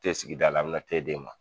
Te sigi da la a bɛ na te d'e ma.